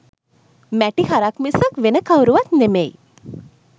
මැටි හරක් මිසක් වෙන කවුරුවත් නෙමෙයි.